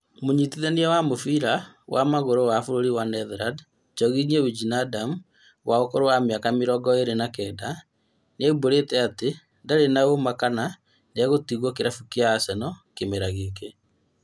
Mũnyitithania wa mũbĩra wa magũrũ wa bũrũri wa Netherlands Georginio Wijnaldum wa ũkũrũ wa mĩaka mĩrongo ĩrĩ na kenda, nĩaũmburĩte atĩ ndarĩ na ũma kana nĩegũtigwo kĩrabu kĩa Arsenal kĩmera gĩkĩ